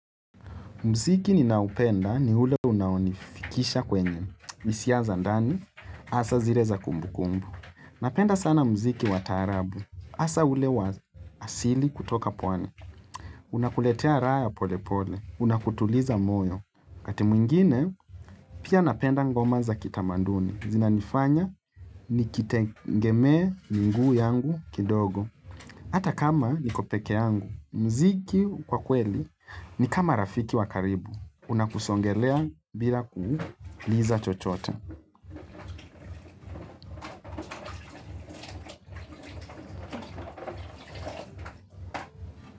Mziki ninaupenda ni ule unaonifikisha kwenye Misia zandani, asa zire za kumbukumbu. Napenda sana mziki wa taarabu. Asa ule wa asili kutoka pwani. Unakuletea raha ya pole pole. Unakutuliza moyo. Wakati mwingine, pia napenda ngoma za kitamanduni. Zina nifanya nikitengemee minguu yangu kidogo. Hata kama niko peke yangu. Mziki kwa kweli ni kama rafiki wa karibu. Una kusongelea bila kuuliza chochote.